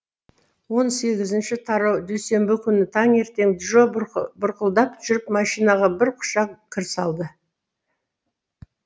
он сегізінші тараудүйсенбі күні таңертең джо бұрқылдап жүріп машинаға бір құшақ кір салды